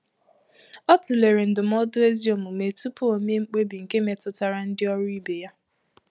Ọ tụlere ndụmọdụ ezi omume tupu o mee mkpebi nke metụtara ndị ọrụ ibe ya.